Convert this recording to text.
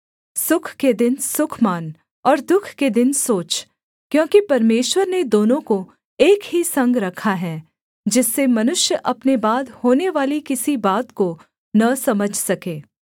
सुख के दिन सुख मान और दुःख के दिन सोच क्योंकि परमेश्वर ने दोनों को एक ही संग रखा है जिससे मनुष्य अपने बाद होनेवाली किसी बात को न समझ सके